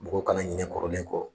Mɔgɔw kana ɲinɛ kɔrɔlen kɔ.